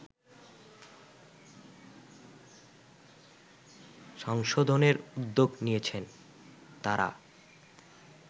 সংশোধনের উদ্যোগ নিয়েছেন তারা